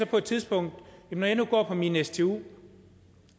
på et tidspunkt når jeg nu går på min stu